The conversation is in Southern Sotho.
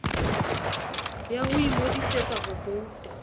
ya ho ingodisetsa ho vouta